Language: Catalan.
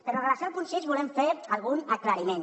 però en relació amb el punt sis volem fer algun aclariment